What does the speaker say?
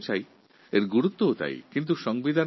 এই আলোচনাও বেশ গুরুত্বপূর্ণ